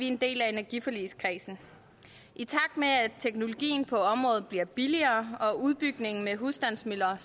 en del af energiforligskredsen i takt med at teknologien på området bliver billigere og udbygningen med husstandsmøller